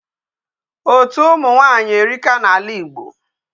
Otu ụmụ nwaanyị erika n'ala igbo.